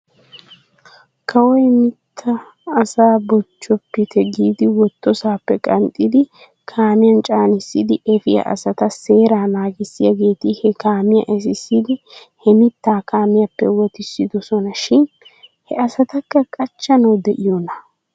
Kawoy mittaa asaa bochchoppite giidi wottosaappe qanxxidi kaamiyan caanissidi efiyaa asata seeraa naagissiyaageeti he kaamiyaa esissidi he mittaa kaamiyaappe wotissidosona shin he asatakka qachchanaw de'iyoonaa?